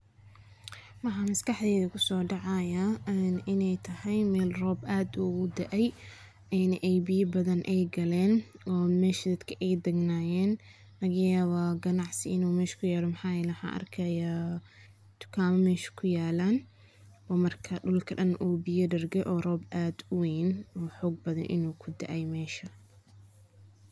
Maxa maskaxdeyda kusodacaya an inay tahay mel roob aad ogudaay, ena ay biya badan ay qalen, ona mesha dadka ay dagnayen, lagayawa ganacsi inay mesha kuyalo waxan arkaya tukama mesh kuualan, oo marka biya badan kuyalaan, oo roob aad uwen oo hog badan inu kudaay mesha.